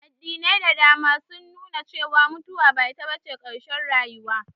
Addinai da dama sun nu na cewa mutuwa ba ita bace ƙarshen rayuwa